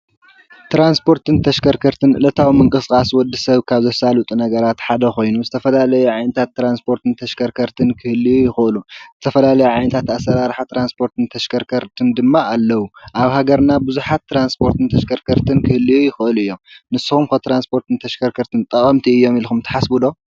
ትራንስፖርትን ተሽከርከርትን ዕለታዊ ምንቅሥቃስ ወዲ ሰብ ካብ ዘሳልጡ ነገራት ሓደ ኾይኑ ዝተፈላለየ ዓይነታት ትራንስፖርትን ተሽከርከርትን ክህልዩ ይኽአሉ፡፡ ዝተፈላለዩ ዓይነታት ኣሰራርሓ ተራንስፖርትን ተሽከርከርትን ድማ ኣለዉ፡፡ ኣብ ሃገርና ብዙሓት ትራንስፖርትን ተሽከርከርትን ክህልዩ ይኽአሉ እዮም፡፡ ንስኹም ከ ትራንስፖርትን ተሽከርከርትን ጠቐምቲ እዮም ኢልኹም ተሓስቡ ዶ?